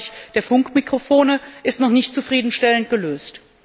im Bereich der Funkmikrofone, ist noch nicht zufriedenstellend gelöst.